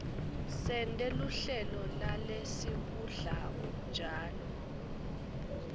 sente luhlelo lalesikudlako njalo